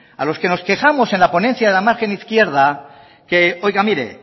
a los que nos quejamos en la ponencia de la margen izquierda que oiga mire